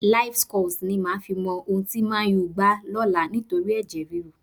Livescores ni màá fi mọ ohun tí Man Utd gbá lọ́la nítorí ẹ̀jẹ̀ ríru.